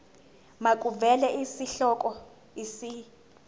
makuvele isihloko isib